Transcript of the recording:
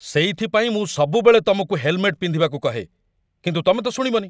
ସେଇଥିପାଇଁ ମୁଁ ସବୁବେଳେ ତମକୁ ହେଲମେଟ ପିନ୍ଧିବାକୁ କହେ, କିନ୍ତୁ ତମେ ତ ଶୁଣିବନି ।